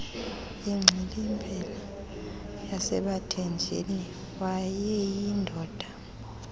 ingxilimbela yasebathenjini wayeyindoda